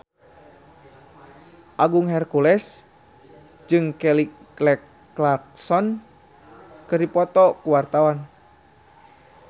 Agung Hercules jeung Kelly Clarkson keur dipoto ku wartawan